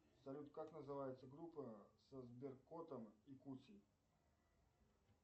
салют как называется группа со сберкотом и кусей